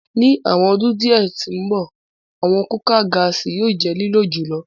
Ni awọn ọdun diẹ ti ǹbọ, awọn kukạ gaasi yóò jẹ lilo jùlọ